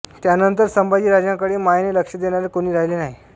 त्यानंतर संभाजीराजांकडे मायेने लक्ष देणारे कोणी राहिले नाही